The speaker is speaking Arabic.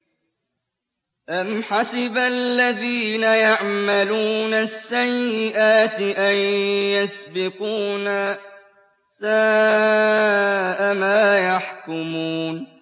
أَمْ حَسِبَ الَّذِينَ يَعْمَلُونَ السَّيِّئَاتِ أَن يَسْبِقُونَا ۚ سَاءَ مَا يَحْكُمُونَ